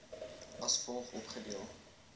as volg opgedeel